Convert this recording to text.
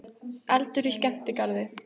Eldur í skemmtigarði